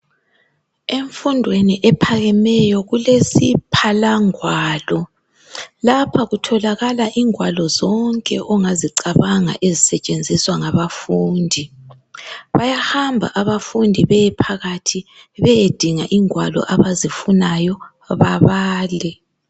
Emfundweni ephakemeyo kulesiphalangwalo. Lapha kutholakala ingwalo zonke ongazicabanga ezisetshenziswa ngabafundi. Bayahamba abafundi beyephakathi beyedinga ingwalo abazifunayo babale.